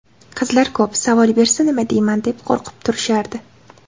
Qizlar ko‘p, savol bersa nima deyman, deb qo‘rqib turishardi.